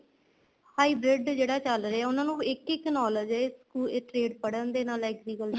high braid ਜਿਹੜਾ ਚੱਲ ਰਿਹਾ ਉਹਨਾ ਨੂੰ ਇੱਕ ਇੱਕ knowledge ਏ ਇੱਥੇ ਪੜ੍ਹਣ ਦੇ ਨਾਲ agriculture